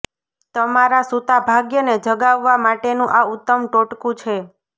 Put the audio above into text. તમારા સુતા ભાગ્યને જગાવવા માટેનું આ ઉત્તમ ટોટકુ છે